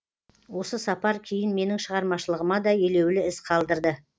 осы сапар кейін менің шығармашылығыма да елеулі із қалдырды